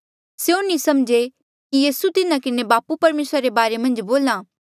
स्यों नी समझे कि यीसू तिन्हा किन्हें बापू परमेसरे रे बारे मन्झ बोल्हा